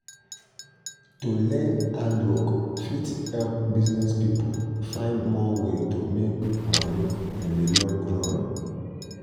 to learn handwork fit help business people find more way to make money in the long run.